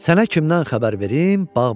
Sənə kimdən xəbər verim?